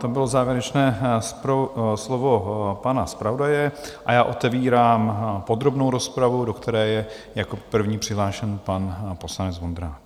To bylo závěrečné slovo pana zpravodaje a já otevírám podrobnou rozpravu, do které je jako první přihlášen pan poslanec Vondrák.